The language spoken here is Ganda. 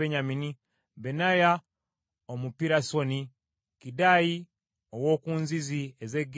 Benaya Omupirasoni, Kiddayi ow’oku bugga obw’e Gaasi,